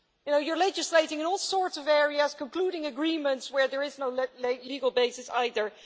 You know, you're legislating in all sorts of areas, concluding agreements where there is no legal basis either.